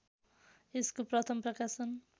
यसको प्रथम प्रकाशन